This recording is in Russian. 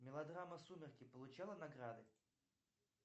мелодрама сумерки получала награды